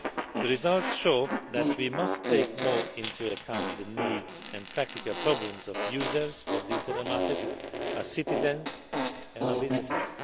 The results show that we must take more into account the needs and practical problems of users of the internal market, our citizens and our businesses.